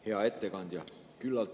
Hea ettekandja!